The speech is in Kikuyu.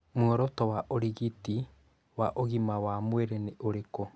Muoroto wa ũrigiti wa ũgima wa mwĩrĩ nĩ ũrĩkũ?